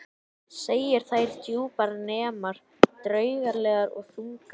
Segir þær djúpar, næmar, draugalegar og þungar.